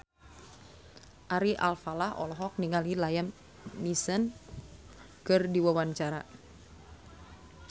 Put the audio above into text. Ari Alfalah olohok ningali Liam Neeson keur diwawancara